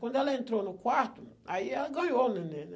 Quando ela entrou no quarto, aí ela ganhou o neném, né.